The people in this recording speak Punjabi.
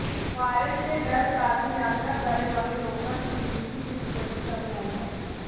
ਵਾਇਰਸ ਦੇ ਡਰ ਕਾਰਨ ਯਾਤਰਾ ਕਰਨ ਵਾਲੇ ਲੋਕਾਂ ਦੀ ਗਿਣਤੀ ਵਿਚ ਵੱਡੀ ਕਮੀ ਆਈ ਹੈ